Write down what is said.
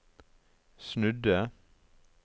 snudde